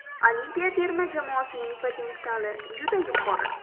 Olimpiya terma jamoasining potensiali juda yuqori.